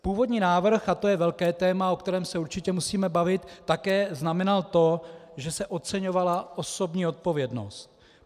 Původní návrh, a to je velké téma, o kterém se určitě musíme bavit, také znamenal to, že se oceňovala osobní odpovědnost.